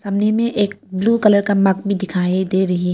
में एक blue colour का मग भी दिखाई दे रही है।